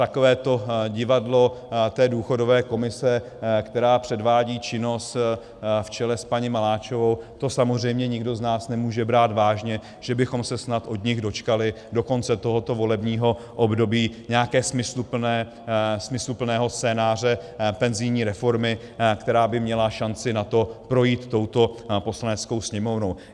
Takové to divadlo té důchodové komise, která předvádí činnost v čele s paní Maláčovou, to samozřejmě nikdo z nás nemůže brát vážně, že bychom se snad od nich dočkali do konce tohoto volebního období nějakého smysluplného scénáře penzijní reformy, která by měla šanci na to projít touto Poslaneckou sněmovnou.